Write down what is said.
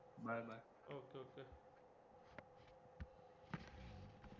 bye